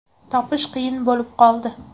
Topish qiyin bo‘lib qoldi.